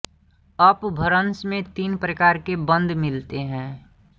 अपभ्रंश में तीन प्रकार के बंद मिलते हैं